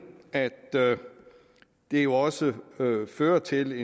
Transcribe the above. at det jo også fører til